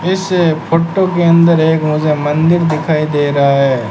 इस फोटो के अंदर एक मुझे मंदिर दिखाई दे रहा है।